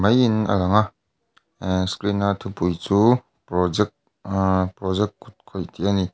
maiin alang a aaa screen a thupui chu project aa project kutkawih tih a ni.